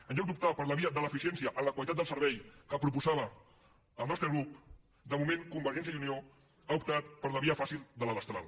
en lloc d’optar per la via de l’eficiència en la qualitat del servei que proposava el nostre grup de moment convergència i unió ha optat per la via fàcil de la destral